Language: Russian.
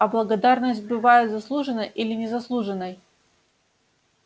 а благодарность бывает заслуженной или незаслуженной